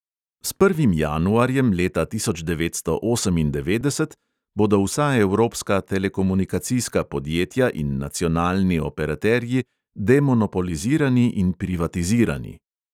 S prvim januarjem leta tisoč devetsto osemindevetdeset bodo vsa evropska telekomunikacijska podjetja in nacionalni operaterji demonopolizirani in privatizirani.